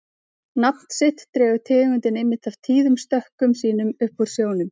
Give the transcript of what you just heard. Nafn sitt dregur tegundin einmitt af tíðum stökkum sínum upp úr sjónum.